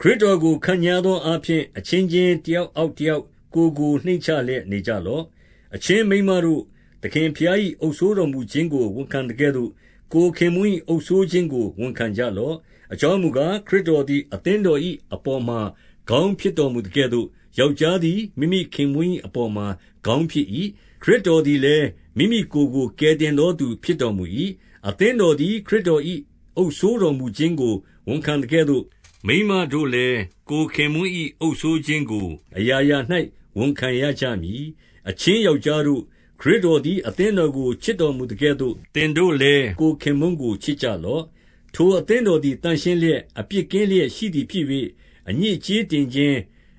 ခရစ်တော်ကို ခန့်ညားသောအားဖြင့်၊ အချင်းချင်း တယောက်အောက်တယောက်ကိုယ်ကို နှိမ့်ချလျက် နေကြလော့။ 22 အချင်းမိန်မတို့၊ သခင်ဘုရား၏ အုပ်စိုးတော်မူခြင်းကို ဝန်ခံသကဲ့သို့၊ ကိုယ်ခင်ပွန်း၏အုပ်စိုးခြင်းကို ဝန်ခံကြလော့။ 23 အကြောင်းမူကား၊ ခရစ်တော်သည် အသင်းတော်၏ အပေါ်မှာ ခေါင်းဖြစ်တော်မူသကဲ့သို့၊ ယောက်ျား သည် မိမိခင်ပွန်း၏အပေါ်မှာ ခေါင်းဖြစ်၏။ ခရစ်တော်သည်လည်း မိမိကိုယ်ကို ကယ်တင်သောသူ ဖြစ်တော်မူ၏။ 24 အသင်းတော်သည် ခရစ်တော်၏ အုပ်စိုးတော်မူခြင်းကို ဝန်ခံသကဲ့သို့၊ မိန်းမတို့လည်း ကိုယ်ခင်ပွန်း၏ အုပ်စိုးခြင်းကို အရာရာ၌ဝန်ခံရကြမည်။ 25 အချင်းယောက်ျားတို့၊ ခရစ်တော်သည် အသင်းတော်ကို ချစ်တော်မူသကဲ့သို့၊ သင်တို့လည်း ကိုယ်ခင်ပွန်းကို ချစ်ကြလော့။ 26 ထိုအသင်းတော်သည် သန့်ရှင်းလျက် အပြစ်ကင်းလျက်ရှိသည် ဖြစ်၍၊ 27 အညစ်အကြေးတင်ခြင်း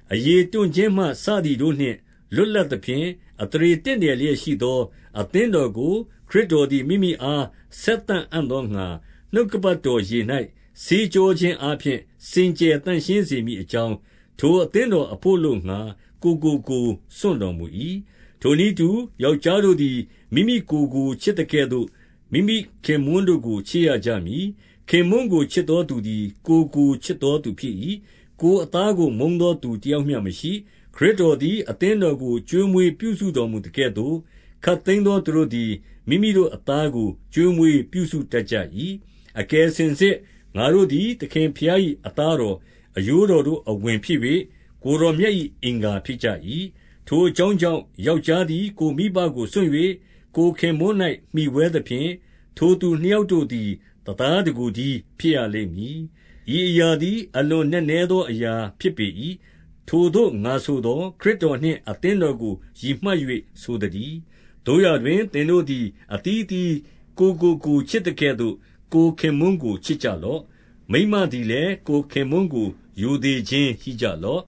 ၊ အရေတွန့်ခြင်းမှ စသည်တို့နှင့် လွတ်လပ်သဖြင့်၊ အသရေတင့်တယ်လျက် ရှိသော အသင်းတော်ကို ခရစ်တော်သည် မိမိအား ဆက်သအံ့သောငှါ၊ နှုတ်ကပတ်တော်ရေ၌ ဆေးကြော ခြင်းအားဖြင့် စင်ကြယ်သန့်ရှင်းစေမည်အကြောင်း၊ ထိုအသင်းတော်အဘို့အလို့ငှါ ကိုယ်ကို ကိုယ်စွန့်တော်မူ၏။ 28 ထိုနည်းတူ ယောက်ျားတို့သည် မိမိကိုယ်ကို ချစ်သကဲ့သို့ မိမိခင်ပွန်းတို့ကိုချစ်ရကြမည်။ ခင်ပွန်းကို ချစ်သောသူသည် ကိုယ်ကိုချစ်သောသူဖြစ်၏။ 29 ကိုယ်အသားကို မုန်းသောသူတယောက်မျှမရှိ။ ခရစ်တော်သည် အသင်းတော်ကို ကျွေးမွေးပြုစုတော်မူ သကဲ့သို့၊ ခပ်သိမ်းသောသူတို့သည် မိမိတို့အသားကို ကျွေးမွေးပြုစုတတ်ကြ၏။ 30 အကယ်စင်စစ်ငါတို့သည် သခင်ဘုရား၏ သားတော်၊ အရိုးတော် တို့အဝင်ဖြစ်၍၊ ကိုယ်တော်မြတ်၏ အင်္ဂါဖြစ်ကြ၏။ 31 ထိုအကြောင်းအကြောင့်ယောက်ျားသည် ကိုယ်မိဘကိုစွန့်၍ ကိုယ်ခင်ပွန်း၌ မှီဝဲသဖြင့်၊ ထိုသူနှစ်ယောက် တို့သည် တသားတကိုယ်တည်း ဖြစ်ရလိမ့်မည်။ 32 ဤအရာသည် အလွန်နက်နဲသောအရာ ဖြစ်ပေ၏။ ထိုသို့ငါဆိုသော်၊ ခရစ်တော်နှင့် အသင်းတော် ကိုရည်မှတ်၍ဆိုသတည်း။ 33 သို့ရာတွင်သင်တို့သည် အသီးသီး ကိုယ်ကိုကိုယ် ချစ်သကဲ့သို့ ကိုယ်ခင်ပွန်းကိုချစ်ကြလော့။ မိန်းမသည်လည်း ကိုယ်ခင်ပွန်းကို ရိုသေခြင်းရှိစေလော့